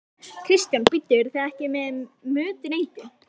Kristján: Bíddu, eruð þið ekki með mötuneyti?